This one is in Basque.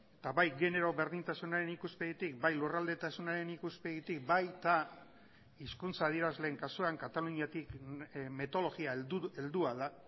eta bai genero berdintasunaren ikuspegitik bai lurraldetasunaren ikuspegitik baita hizkuntza adierazleen kasuan kataluniatik metodologia heldua da